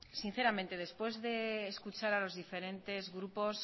sinceramente después de escuchar a los diferentes grupos